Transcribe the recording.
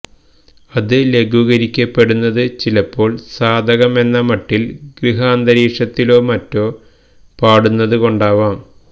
അതു ലഘൂകരിക്കപ്പെടുന്നത് ചിലപ്പോള് സാധകം എന്ന മട്ടില് ഗൃഹാന്തരീക്ഷത്തിലോ മറ്റോ പാടുന്നതുകൊണ്ടാവാം